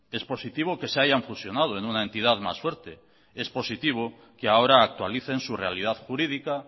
es positivo que se hayan fusionado en una entidad más fuerte es positivo que ahora actualicen su realidad jurídica